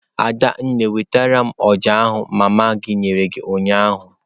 Adanne nwetara m oja ahu mma gi nyere gi unyanya.